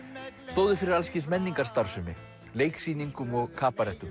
stóðu fyrir alls kyns menningarstarfsemi leiksýningum og